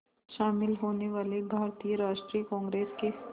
शामिल होने वाले भारतीय राष्ट्रीय कांग्रेस के